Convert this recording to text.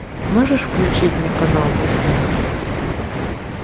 можешь включить мне канал дисней